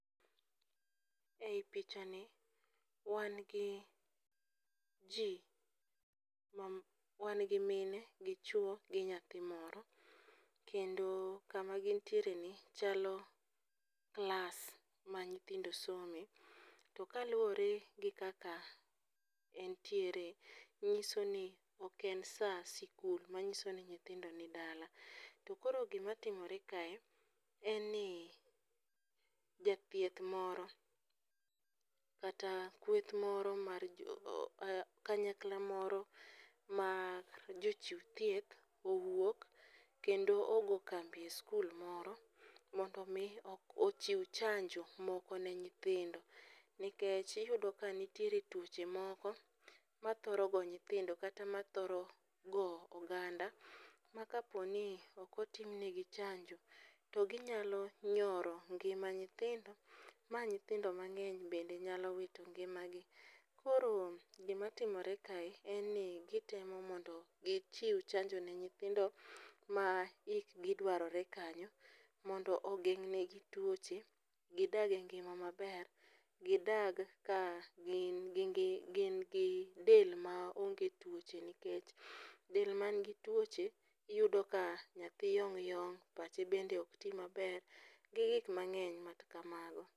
Ei pichani, wan gi mine gi chuwo gi nyathi moro, kendo kama gintiereni chalo klas ma nyithindo some, to kaluwore gi kaka entiere, ng'isoni ok en sa sikul, mang'iso ni nyithindo ni dala. To koro gimatimore kae, en ni jathieth moro kata kweth moro mar kanyakla moro ma jochiw thieth owuok kendo ogo kambi e skul moro mondo omi ochiw chanjo moko ne nyithindo nikech iyudo ka nitiere tuoche moko ma thoro go nyithindo kata mathoro go oganda, ma kaponi ok otim nigi chanjo to ginyalo nyoro ngima nyithindo, ma nyithindo mang'eny bende nyalo wito ngimagi. Koro gima timore kae en ni gitemo mondo gichiw chanjo ne nyithindo ma hikgi dwarore kanyo, mondo ogeng' negi tuoche, gidag e ngima maber, gidag ka gin gi del maonge tuoche nikech del manigi tuoche, iyudo ka nyathi yom yom, pache bende ok ti maber, gi gik mang'eny machal kamago.